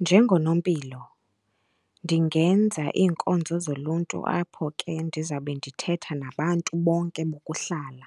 Njengonompilo ndingenza iinkonzo zoluntu apho ke ndizawube ndithetha nabantu bonke bokuhlala